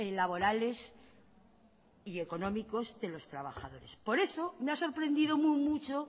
laborales y económicos de los trabajadores por eso me ha sorprendido mucho